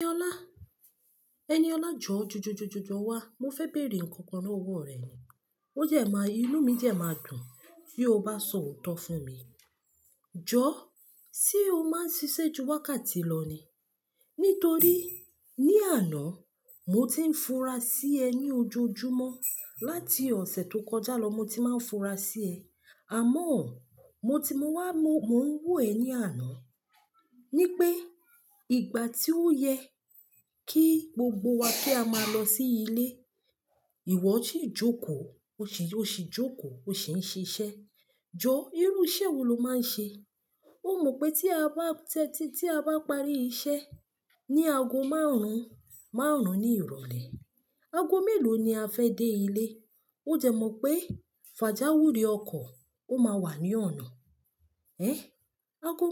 Ẹniọlá, ẹniọlá jọ, jọ, jọ, jọ, jọ wá. Mo fẹ́ bèèrè nnkan kan lọ́wọ́ rẹ. O dẹ máa, inú mi dẹ máa dùn bí o bá sọ òótọ́ fún mi. Jọ, ṣé o máa ń ṣiṣẹ́ ju wákàtí lọ ni? Nítorí ní àná mo ti ń fura sí ẹ ní ojoojúmọ́. Láti ọ̀sẹ̀ tó kọjá lọ mo ti máa ń fura sí ẹ. Àmọ́ ọ, mo ti mo wá mo, mò ń wò ẹ ní àná. Ní pé ìgbà tí ó yẹ kí gbogbo wa ki a máa lọ sí ilé, ìwọ ṣì jókòó, o ṣi, o ṣì ń jókòó, o ṣi ń ṣiṣẹ́. Jọ, irú iṣẹ́ wo lo máa ń ṣe? O mọ pé tí a bá tẹ́ti, tí a bá parí iṣẹ́ ní ago márùn-ún, márùn-ún ní ìrọ̀lẹ́, ago mélòó ni a fẹ́ dé ilé? O dẹ mọ̀ pé pajawiri ọkọ̀ ó máa wà ní ọ̀nà. Ẹn? Ago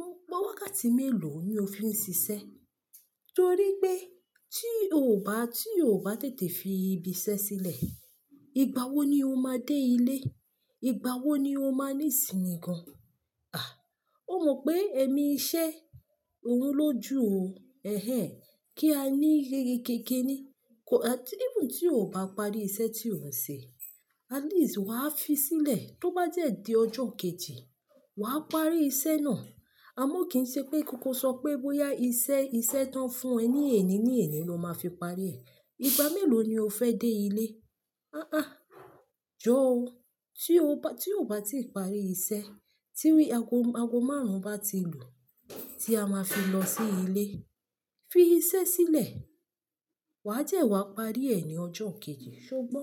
wákàtí mélòó ni o fi ń ṣiṣẹ́? Nítorí pé tí o bá, tí o bá tètè fi ibi iṣẹ́ sílẹ̀, ìgbà wo ni o máa dé ilé? Ìgbà wo ni o máa ní ìsìnì gan? À, o mọ pé èmi iṣẹ́ òun lójú o. Ẹ̀hẹ̀n, kí á ní ìyẹ́rí kéké ni. Kò, even tí o ò bá parí iṣẹ́ tí o ń ṣe, at least wàá fi sílẹ̀. Tó bá dẹ di ọjọ́ kejì, wà á parí iṣẹ́ náà. Àmọ́ kì í ṣe pé kọ sọ pé bóyá iṣẹ́, iṣẹ́ tán fún ẹ ní èní ní èní ló máa fi parí ẹ̀. Ìgbà mélòó ni o fẹ́ dé ilé? Àà aa, jọ́ o. Tí o bá, tí o ò bá ti parí iṣẹ́, tí wi, ago, ago márùn-ún bá ti lu tí a máa fi lọ sí ilé, fi iṣẹ́ sílẹ̀. Wà á dẹ wá parí ẹ̀ ní ọjọ́ kejì, ṣé o gbọ́?